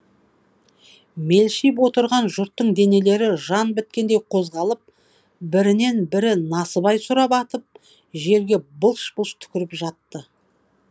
мелшиіп отырған жұрттың денелері жан біткендей қозғалып бірінен бірі насыбай сұрап атып жерге былш былш түкіріп жатты